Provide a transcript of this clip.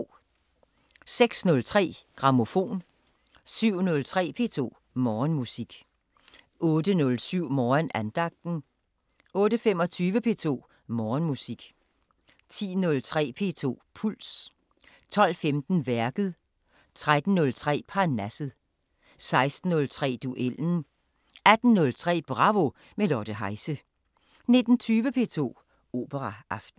06:03: Grammofon 07:03: P2 Morgenmusik 08:07: Morgenandagten 08:25: P2 Morgenmusik 10:03: P2 Puls 12:15: Værket 13:03: Parnasset 16:03: Duellen 18:03: Bravo – med Lotte Heise 19:20: P2 Operaaften